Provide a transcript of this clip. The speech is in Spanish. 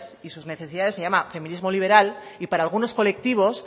y sus necesidades se llama feminismo liberal y para algunos colectivos